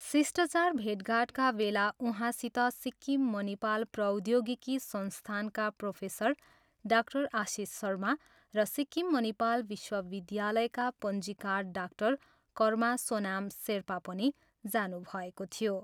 शिष्टाचार भेटघाटका बेला उहाँसित सिक्किम मनिपाल प्रौद्योगिकी संस्थानका प्रोफेसर डाक्टर आशिष शर्मा र सिक्किम मनिपाल विश्वविद्यालायका पञ्जीकार डाक्टर कर्मा सोनाम सेर्पा पनि जानुभएको थियो।